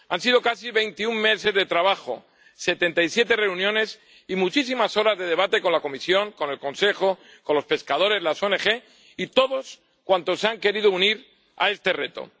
Han sido casi 21 meses de trabajo, 77 reuniones y muchísimas horas de debate con la Comisión, con el Consejo, con los pescadores, con las ONG y con todos cuantos se han querido unir a este reto.